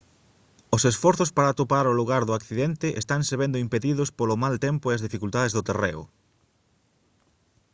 os esforzos para atopar o lugar do accidente estanse vendo impedidos polo mal tempo e as dificultades do terreo